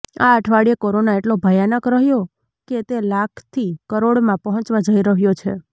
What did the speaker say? આ અઠવાડિયે કોરોના એટલો ભયાનક રહ્યો કે તે લાખથી કરોડમાં પહોંચવા જઈ રહ્યો છે